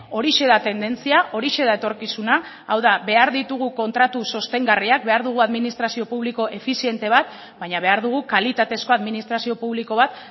horixe da tendentzia horixe da etorkizuna hau da behar ditugu kontratu sostengarriak behar dugu administrazio publiko efiziente bat baina behar dugu kalitatezko administrazio publiko bat